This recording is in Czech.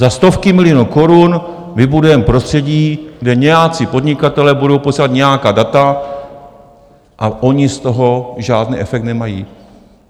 Za stovky milionů korun vybudujeme prostředí, kde nějací podnikatelé budou posílat nějaká data, a oni z toho žádný efekt nemají.